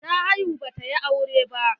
Ta haihu ba ta yi aure ba.